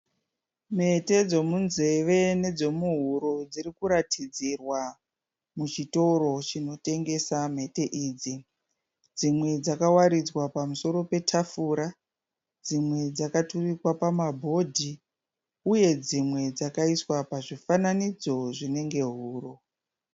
Mhete dzomunzeve nedzomuhuro dziri kuratidzirwa muchitoro chinotengesa mhete idzi. Dzimwe dzakawaridzwa pamusoro petafura, dzimwe dzakaturikwa pamabhodhi uye dzimwe dzakaiswa pazvifananidzo zvinenge huro.